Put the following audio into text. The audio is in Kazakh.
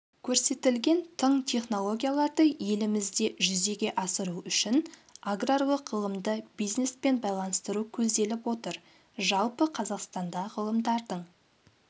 көрсетілген тың технологияларды елімізде жүзеге асыру үшін аграрлық ғылымды бизнеспен байланыстыру көзделіп отыр жалпы қазақстанда ғалымдардың